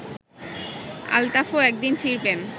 আলতাফও একদিন ফিরবেন